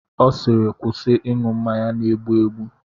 Ọ siiri kwụsị ịṅụ mmanya na-egbu egbu!